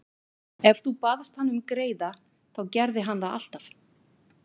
Ef þú baðst hann um greiða þá gerði hann það alltaf.